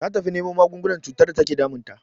Ta tafi nemo magungunan cutar da take damun ta.